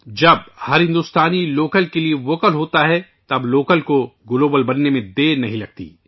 جب ایک ایک ہندوستانی لوکل کے ووکل ہوتا ہے ، تب لوکل کو گلوبل ہوتے دیر نہیں لگتی ہے